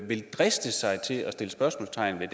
vil driste sig til at sætte spørgsmålstegn ved